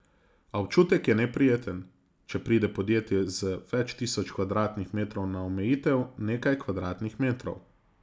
A občutek je neprijeten, če pride podjetje z več tisoč kvadratnih metrov na omejitev nekaj kvadratnih metrov.